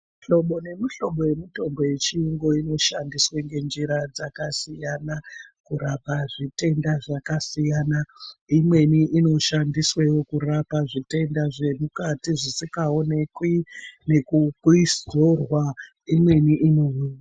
Muhlobo nemuhlobo yemitombo wechiyungu inoshanda ngenjira dzakasiyana kurapa zvitenda zvakasiyana imweni inoshandiswa kurapa zvotenda zvemukati zvisi gaonekwi nekuzorwa imweni ino...